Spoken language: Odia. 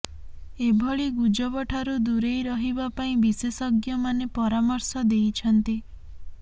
ଏଭଳି ଗୁଜବଠାରୁ ଦୂରେଇ ରହିବା ପାଇଁ ବିଶେଷଜ୍ଞମାନେ ପରାମର୍ଶ ଦେଇଛନ୍ତି